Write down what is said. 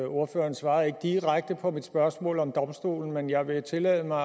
ordføreren svarede ikke direkte på mit spørgsmål om domstolen men jeg vil tillade mig